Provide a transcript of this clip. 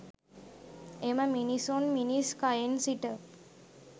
එම මිනිසුන් මිනිස් කයෙන් සිට